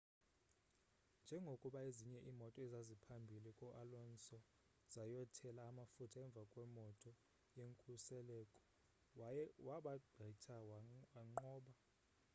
njengokuba ezinye iimoto ezaziphambhili ko-alonso zayothela amafutha emvakwemoto yenkuseleko wabagqitha wanqoba